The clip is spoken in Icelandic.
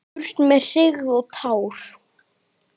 Burt með hryggð og tár!